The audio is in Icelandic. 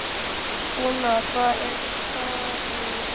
Úna, hvað er á dagatalinu í dag?